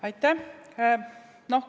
Aitäh!